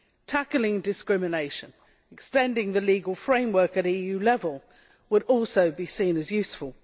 Tackling discrimination and extending the legal framework at EU level would also be seen as useful.